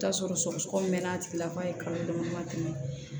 I bi t'a sɔrɔ sɔgɔsɔgɔni mɛn'a tigila k'a ye kalo dama dama tɛmɛ